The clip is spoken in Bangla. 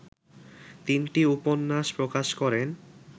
তিনটি উপন্যাস প্রকাশ করেন